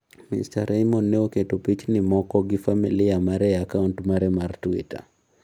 Mister Raymond ne oketo piche moko gi familia mare e akaunt mare mar Twitter.